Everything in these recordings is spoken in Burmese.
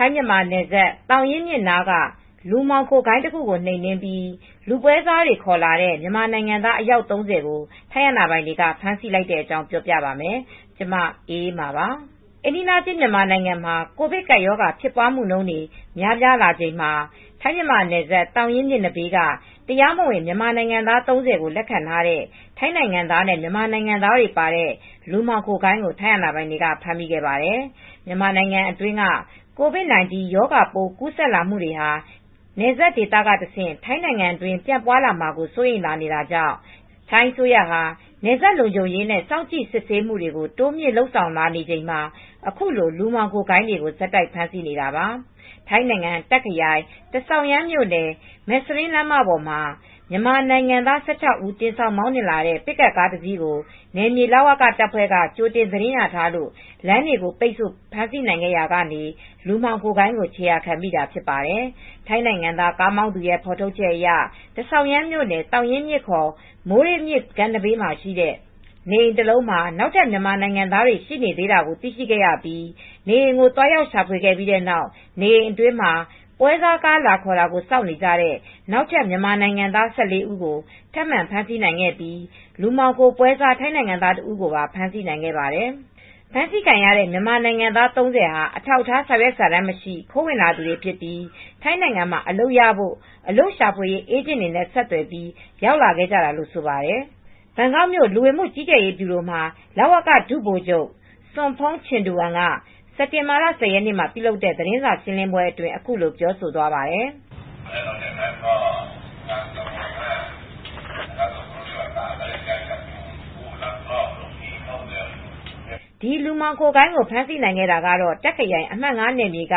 ိုင်း-မြန်မာနယ်စပ် သောင်ရင်းမြစ်နားက လူမှောင်ခိုဂိုဏ်းတခုကို နှိမ်နင်းပြီး လူပွဲစားတွေခေါ်လာတဲ့ မြန်မာနိုင်ငံသား အယောက် ၃၀ ကို ထိုင်းအာဏာပိုင်တွေက ဖမ်းဆီးလိုက်ပါတယ်။ အပြည့်အစုံကို ထိုင်းအခြေစိုက် ဗွီအိုအေ မြန်မာပိုင်း သတင်းထောက် မအေးအေးမာ တင်ပြပေးထားပါတယ်။ အိမ်နီးချင်း မြန်မာနိုင်ငံမှာ ကိုဗစ်ကပ်ရောဂါ ဖြစ်ပွားမှုနှုန်း များပြားလာချိန်မှာ ထိုင်း-မြန်မာနယ်စပ် သောင်ရင်းမြစ်နဘေးက တရားမဝင် မြန်မာနိုင်ငံသား ၃၀ ကို လက်ခံထားတဲ့ ထိုင်းနိုင်ငံသားနဲ့ မြန်မာနိုင်ငံသားတွေပါတဲ့ လူမှောင်ခိုဂိုဏ်းကို ထိုင်းအာဏာပိုင်တွေက ဖမ်းမိခဲ့ပါတယ်။ မြန်မာနိုင်ငံအတွင်းက COVID-19 ရောဂါပိုး ကူးဆက်လာနေမှုဟာ နယ်စပ်ဒေသကတဆင့် ထိုင်းနိုင်ငံတွင်း ပြန့်ပွားလာမှာကို စိုးရိမ်လာနေတာကြောင့် ထိုင်းအစိုးရဟာ နယ်စပ်လုံခြုံရေးနဲ့ စောင့်ကြည့်စစ်ဆေးမှုတွေကို တိုးမြှင့်လုပ်ဆောင်လာနေချိန်မှာ ခုလို လူကုန်ကူးဂိုဏ်းတွေကို ဆက်တိုက်ဖမ်းဆီးနေတာပါ။ ထိုင်းနိုင်ငံ တာ့ခ်ခရိုင် Tha Song Yang မြို့နယ် Mae Sariang လမ်းမပေါ်မှာ မြန်မာနိုင်ငံသား ၁၆ ဦးကို တင်ဆောင်မောင်းနှင်လာတဲ့ ပစ်ကပ်ကားတစီးကို နယ်မြေ လဝကတပ်ဖွဲ့က ကြိုတင်သတင်းရထားလို့ လမ်းတွေကို ပိတ်ဆို့ဖမ်းဆီးနိုင်ခဲ့ရာကနေ လူမှောင်ခိုဂိုဏ်းကို ခြေရာခံမိတာ ဖြစ်ပါတယ်။ ထိုင်းနိုင်ငံသား ကားမောင်းသူရဲ့ ဖော်ထုတ်ချက်အရ Tha Song Yang မြို့နယ် သောင်ရင်းမြစ်ခေါ် မိုးရေးမြစ်ကမ်းနဘေးမှာရှိတဲ့ နေအိမ်တလုံးမှာ နောက်ထပ် မြန်မာနိုင်ငံသားတွေ ရှိနေသေးတာကို သိရှိခဲ့ရပြီး နေအိမ်ကို သွားရောက်ရှာဖွေခဲ့ပြီး နေအိမ်အတွင်းမှာ ပွဲစားကားလာခေါ်တာကို စောင့်နေကြတဲ့ နောက်ထပ် မြန်မာနိုင်ငံသား ၁၄ ဦးကို ထပ်မံဖမ်းဆီးနိုင်ခဲ့ပြီး လူမှောင်ခိုပွဲစား ထိုင်းနိုင်ငံသား တဦးကိုပါ ဖမ်းဆီးနိုင်ခဲ့ပါတယ်။ ဖမ်းဆီးခံရတဲ့ မြန်မာနိုင်ငံသား ၃၀ ဟာ အထောက်အထား စာရွက်စာတမ်းမရှိ ခိုးဝင်လာသူတွေဖြစ်ပြီး ထိုင်းနိုင်ငံမှာ အလုပ်ရဖို့ အလုပ်ရှာဖွေရေး အေးဂျင့်တွေနဲ့ ဆက်သွယ်ပြီး ရောက်လာခဲ့ကြတာလို့ ဆိုပါတယ်။ ဘန်ကောက်မြို့ လူဝင်မှုကြီးကြပ်ရေးဗျူရိုမှာ လဝက ဒုဗိုလ်ချုပ် Sompong Chingduang က စက်တင်ဘာလ ၁၀ ရက်နေ့က လုပ်တဲ့ သတင်းစာရှင်းလင်းပွဲအတွင်း အခုလို ပြောဆိုသွားပါတယ်။ “ဒီလူမှောင်ခိုးဂိုဏ်းကို ဖမ်းဆီးနိုင်တာကတော့ တာ့ခ်ခရိုင် အမှတ် ၅ နယ်မြေက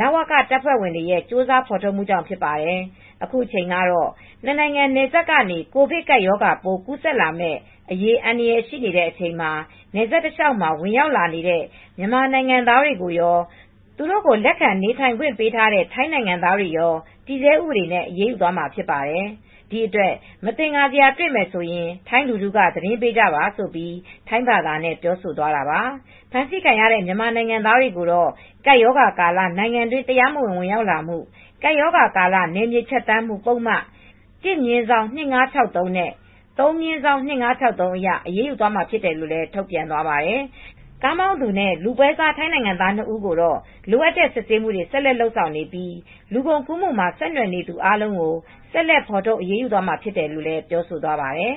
လဝကတပ်ဖွဲ့ဝင်တွေရဲ့ ကြိုးစားဖော်ထုတ်မှုကြောင့် ဖြစ်ပါတယ်။ အခုချိန်က နှစ်နိုင်ငံ နယ်စပ်ကနေ ကိုဗစ်ကပ်ရောဂါပိုး ကူးစက်လာမယ့်အရေး အန္တရာယ်ရှိနေတဲ့အချိန်မှာ နယ်စပ်တလျှောက်မှာ ဝင်ရောက်လာနေတဲ့ မြန်မာနိုင်ငံသားတွေကိုရော သူတို့ကို လက်ခံနေထိုင်ခွင့်ပေးထားတဲ့ ထိုင်းနိုင်ငံသားတွေရော တည်ဆဲဥပဒေနဲ့ အရေးယူသွားမှာ ဖြစ်ပါတယ်။ ဒီအတွက် မသင်္ကာစရာတွေ တွေ့တယ်ဆိုရင် ထိုင်းလူထုက သတင်းပေးကြပါ” လို့ ထိုင်းဘာသာနဲ့ ပြောဆိုသွားတာပါ။ ဖမ်းဆီးခံရတဲ့ မြန်မာနိုင်ငံသားတွေကိုတော့ ကပ်ရောဂါကာလ နိုင်ငံတွင်း တရားမဝင် ဝင်ရောက်လာမှု ကပ်ရောဂါကာလ နယ်မြေဖြတ်သန်းမှု ပုဒ်မ ၁/၂၅၆၃ နဲ့ ၃/၂၅၆၃ အရ အရေးယူသွားမှာဖြစ်တယ်လို့ ထုတ်ပြန်သွားပါတယ်။ ကားမောင်းသူနဲ့ လူပွဲစား ထိုင်းနိုင်ငံသား ၂ ဦးကိုတော့ လိုအပ်တဲ့ စစ်ဆေးမှုတွေ ဆက်လက်လုပ်ဆောင်နေပြီး လူကုန်ကူးမှုမှာ ဆက်နွှယ်နေတဲ့သူတွေ အားလုံးကို ဆက်လက်ဖော်ထုတ် အရေးယူသွားမှာဖြစ်တယ်လို့ ပြောဆိုသွားပါတယ်။